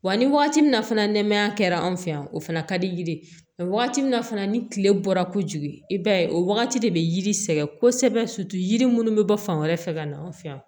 Wa ni wagati min na fana nɛmaya kɛra anw fɛ yan o fana ka di yiriwa min fana ni tile bɔra kojugu i b'a ye o wagati de bɛ yiri sɛgɛn kosɛbɛ yiri minnu bɛ bɔ fan wɛrɛ fɛ ka na an fɛ yan